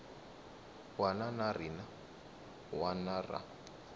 wana na rin wana ra